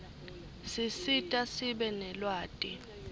sisita sibe nelwati